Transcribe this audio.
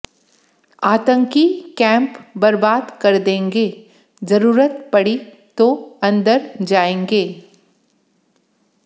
आतंकी कैंप बर्बाद कर देंगे जरूरत पड़ी तो अंदर जाएंगे